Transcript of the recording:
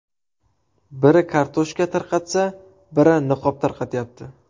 Biri kartoshka tarqatsa, biri niqob tarqatyapti.